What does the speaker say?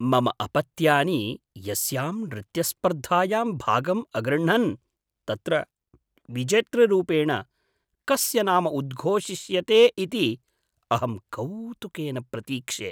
मम अपत्यानि यस्यां नृत्यस्पर्धायां भागम् अगृह्णन् तत्र विजेतृरूपेण कस्य नाम उद्घोषिष्यते इति अहं कौतुकेन प्रतीक्षे।